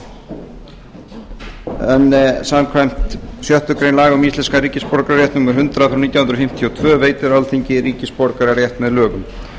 þriðja löggjafarþingi en samkvæmt sjöttu grein laga um íslenskan ríkisborgararétt númer hundrað nítján hundruð fimmtíu og tvö veitir alþingi ríkisborgararétt með lögum